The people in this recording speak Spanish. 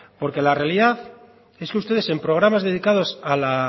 en realidad es que ustedes en programas dedicados